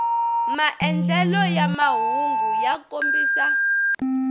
maandlelelo ya mahungu ya kombisa